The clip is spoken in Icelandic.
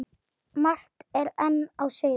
Margt er enn á seyði.